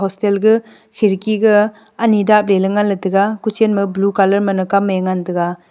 ga khirki ga ani dapley la ngan taiga ku chen ma blue colour ma kam e ngan taiga.